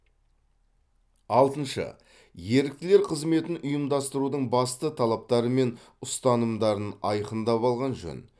алтыншы еріктілер қызметін ұйымдастырудың басты талаптары мен ұстанымдарын айқындап алған жөн